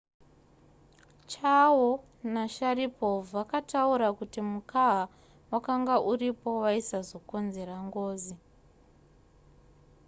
chiao nasharipov vakataura kuti mukaha wakanga uripo waisazokonzera ngozi